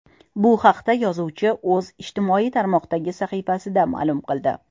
Bu haqda yozuvchining o‘zi ijtimoiy tarmoqdagi sahifasida ma’lum qildi .